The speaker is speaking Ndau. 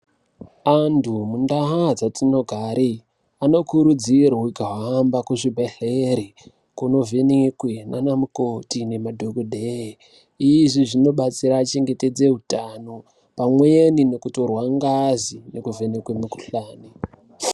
Antu mundau dzatinogare, anokurudzirwe kuhamba kuzvibhedhlere, kunonhenekwe nanamukoti nemadhokodheya. Izvi zvinobatsira kuchengetedza utano pamweni nekutorwa ngazi nekuvhenekwe mikhuhlani.